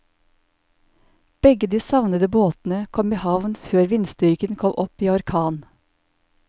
Begge de savnede båtene kom i havn før vindstyrken kom opp i orkan.